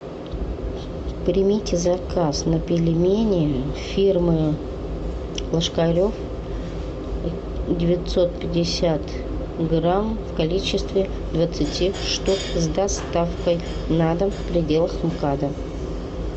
примите заказа на пельмени фирмы ложкарев девятьсот пятьдесят грамм в количестве двадцати штук с доставкой на дом в пределах мкада